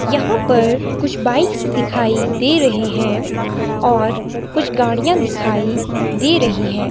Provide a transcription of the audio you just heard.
यहां पर कुछ बाइक्स दिखाई दे रहे हैं और कुछ गाड़ियां दिखाई दे रहे है।